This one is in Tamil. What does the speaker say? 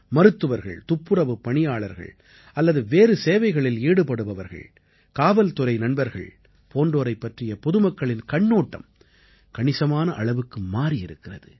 மருத்துவர்கள் துப்புரவுப் பணியாளர்கள் அல்லது வேறு சேவைகளில் ஈடுபடுபவர்கள் காவல்துறை நண்பர்கள் போன்றோரைப் பற்றிய பொதுமக்களின் கண்ணோட்டம் கணிசமான அளவுக்கு மாறியிருக்கிறது